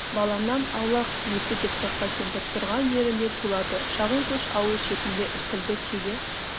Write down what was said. баламнан аулақ несі деп торқа кемпір тұрған жерінде тулады шағын көш ауыл шетінде іркілді шеге